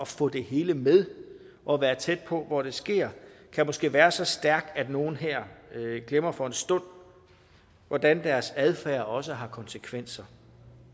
få det hele med og være tæt på hvor det sker kan måske være så stærk at nogle her glemmer for en stund hvordan deres adfærd også har konsekvenser